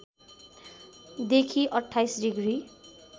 देखि २८ डिग्री